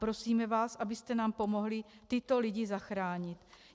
Prosíme vás, abyste nám pomohli tyto lidi zachránit.